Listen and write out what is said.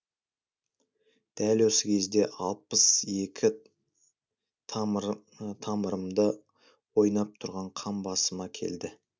дәл осы кезде алпыс екі тамырымда ойнап тұрған қан басыма келді